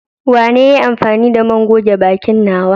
Wanene ya yi amfani da man goge bakin nawa?